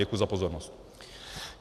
Děkuji za pozornost.